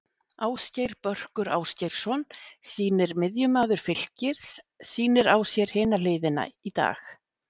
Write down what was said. Ásgeir Börkur Ásgeirsson sýnir miðjumaður Fylkis sýnir á sér hina hliðina í dag.